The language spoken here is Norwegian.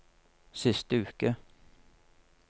siste uke